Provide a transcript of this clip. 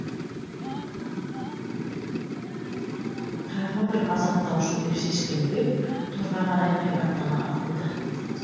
тағы бір азаптаушы деп шешкен бэк торға қарай айбаттана атылды